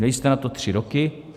Měli jste na to tři roky.